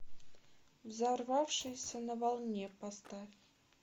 взорвавшийся на волне поставь